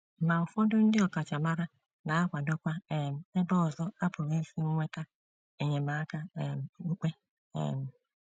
Ma ụfọdụ ndị ọkachamara na - akwadokwa um ebe ọzọ a pụrụ isi nweta enyemaka um okpukpe um.